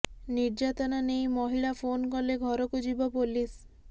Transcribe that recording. ନିର୍ଯ୍ୟାତନା ନେଇ ମହିଳା ଫୋନ କଲେ ଘରକୁ ଯିବ ପୋଲିସ